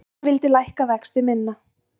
Einn vildi lækka vexti minna